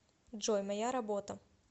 джой моя работа